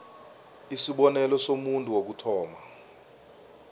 isibonelo somuntu wokuthoma